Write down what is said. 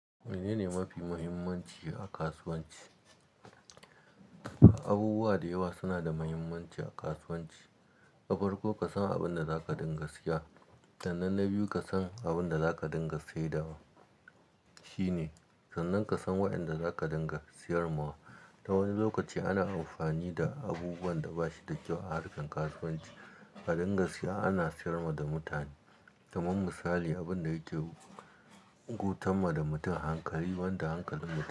Menene mafi muhimmanci a kasuwanci? Abubuwa da yawa suna da muhimmanci a kasuwanci. Nafarko ka san abin da zaka dinga siya, sannen na biyu ka san abin da zaka dinga saidawa shine, sannan ka san wa'yanda zaka dinga siyar ma wa. Ta wani lokaci ana amfani da abubuwan da basu da kyau a harkan kasuwanci a dinga siya ana siyar ma da mutane. Kaman misali abin da yake gutan ma da mutum hankali, wanda hankalin mutum.